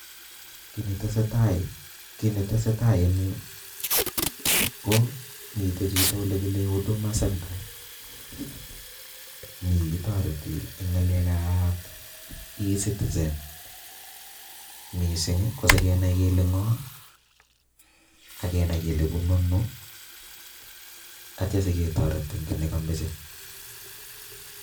Kit netesetai, kit netesetai en yuu ko miten chito ole kile huduma center miii kitoreti en ngalek ab ecitizen missing kii ko sikenai kele ngo akenai kele bunu ono ak ityo siketoret en kii nekomoche.